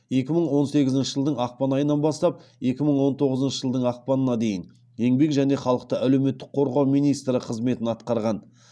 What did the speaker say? екі мың он сегізінші жылдың ақпан айынан бастап екі мың он тоғызыншы жылдың ақпанына дейін еңбек және халықты әлеуметтік қорғау министрі қызметін атқарған